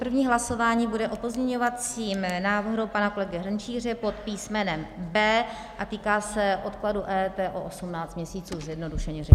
První hlasování bude o pozměňovacím návrhu pana kolegy Hrnčíře pod písmenem B a týká se odkladu EET o 18 měsíců zjednodušeně řečeno.